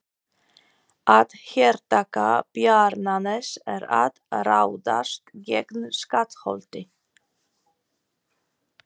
Að hertaka Bjarnanes er að ráðast gegn Skálholti.